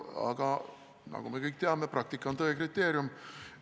Aga nagu me kõik teame, praktika on tõe kriteerium.